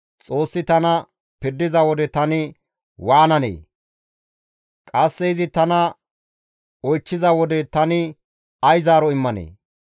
Xoossi tana pirdiza wode tani waananee? Qasse izi tana oychchiza wode tani ay zaaro immanee?